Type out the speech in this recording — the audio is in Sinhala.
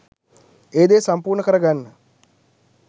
ඒ දේ සම්පූර්ණ කරගන්න